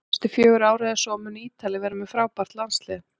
Næstu fjögur ár eða svo munu Ítalir vera með frábært landslið